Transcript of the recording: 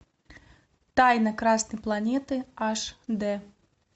тайна красной планеты аш д